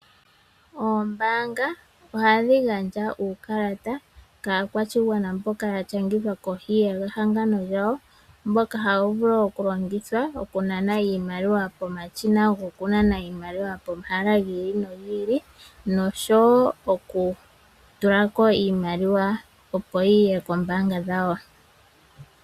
Oombaanga ohadhi gandja uukalata kaakwashigwana mboka yashangithwa kohi yehangano lyawo mboka hawu vulu okulongithwa okunana iimaliwa yawo pomashina gokunana iimaliwa pomahala giili nogiili, noshowoo okutulako iimaliwa opo yiye koombaanga dhawo.